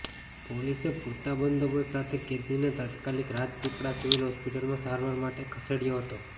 પોલીસે પૂરતા બંદોબસ્ત સાથે કેદીને તાત્કાલિક રાજપીપળા સિવિલ હોસ્પિટલમાં સારવાર માટે ખસેડયો હતો